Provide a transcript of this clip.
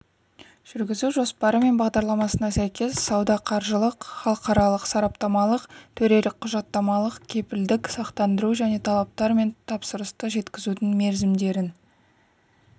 жүргізу жоспары және бағдарламасына сәйкес сауда-қаржылық халықаралық-сараптамалық төрелік-құжаттамалық кепілдік сақтандыру және талаптар мен тапсырысты жеткізудің мерзімдерін